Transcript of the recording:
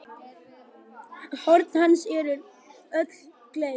Horn hans eru öll gleið.